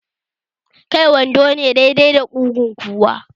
Kai wando ne dai dai da kugun kowa?